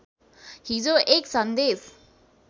हिजो एक सन्देश